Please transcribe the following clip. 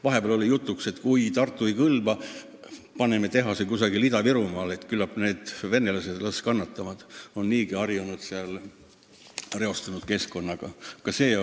Vahepeal oli jutuks, et kui Tartu ei kõlba, ehitame tehase kuhugi Ida-Virumaale – las need venelased kannatavad, nad on ju reostunud keskkonnaga harjunud.